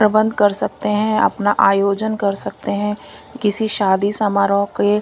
प्रबंध कर सकते हैं अपना आयोजन कर सकते हैं किसी शादी समारोह के--